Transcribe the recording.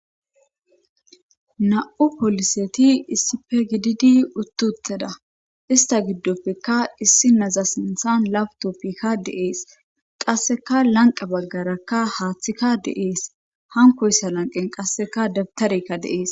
Na'u poliseti issife gididi uttutteda ista giddoppekka issi naza sinthan labtoppikka deees qasseka lanqa baggaraka haaththika deees hankoyssa lanqen qasseka debtarekka deees.